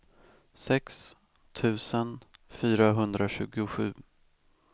sex tusen fyrahundratjugosju